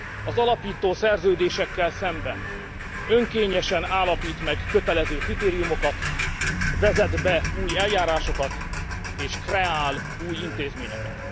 Az alapító szerződésekkel szemben önkényesen állapít meg kötelező kritériumokat, vezet be új eljárásokat és kreál új intézményeket.